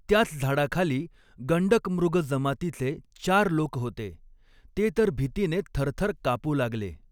त्याच झाडाखाली गण्डकमृग जमातीचे चार लोक होते, ते तर भीतीने थरथर कापू लागले.